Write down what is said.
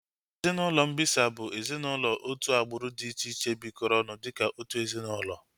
Ezinaụlọ mbisa bụ ezinaụlọ otu agbụrụ dị iche iche bikoro ọnụ dịka otu ezinaụlọ